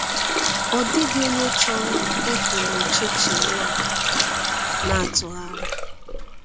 Ọ dịghị onye chọrọ ịpụ n’ọchịchịrị a na-atụgharị.